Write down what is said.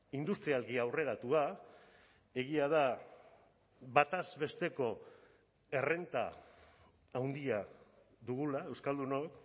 industrialki aurreratua egia da bataz besteko errenta handia dugula euskaldunok